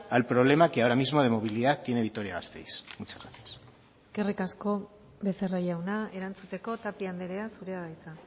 al problema que ahora mismo de movilidad tiene vitoria gasteiz eskerrik asko becerra jauna erantzuteko tapia andrea zurea da hitza